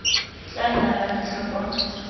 tla nna la ntlha kwa